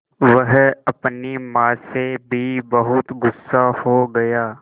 वह अपनी माँ से भी बहुत गु़स्सा हो गया